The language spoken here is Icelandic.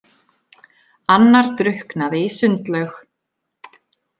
Annar drukknaði í sundlaug.